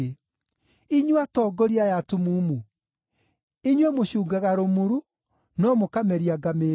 Inyuĩ atongoria aya atumumu! Inyuĩ mũcungaga rũmuru, no mũkameria ngamĩĩra.